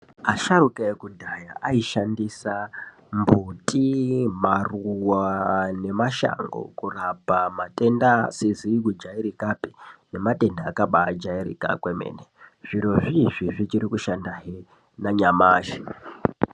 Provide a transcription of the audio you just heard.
Asharukwa ekudhaya ayishandisa mbuti, maruwa nemashango kurapa matenda asizi kujairikapi nematenda akabajairika kwemene. Zviro izvizvi zvichiri kushandahe nanyamashi.